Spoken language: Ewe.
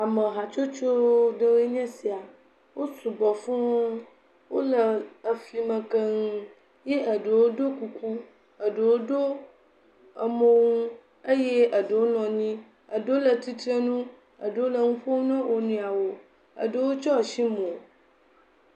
Amehatsotso ɖewoe nye esia. Wo sugbɔ fũuu, wole eflime keŋ ye eɖewo ɖo kuku. Eɖewo ɖo emonu eye eɖewo nɔ anyi. Eɖewo le tsitrenu eye eɖewo le nu ƒom na wo nɔeawo. Eɖewo tsyɔ ashi mo.